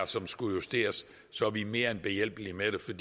som skal justeres så er vi mere end behjælpelige med det